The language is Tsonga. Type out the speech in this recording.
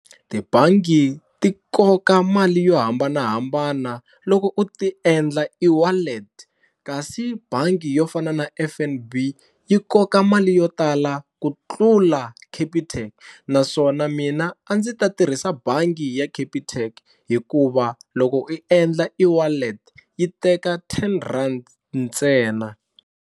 Tibangi ti koka mali yo hambanahambana loko u ti endla eWallet kasi bangi yo fana na F_N_B yi koka mali yo tala ku tlula Capitec naswona mina a ndzi ta tirhisa bangi ya Capitec hikuva loko i endla eWallet yi teka ten rand ntsena.